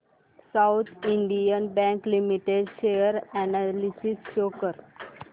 south Indian bank limited share analysis show कर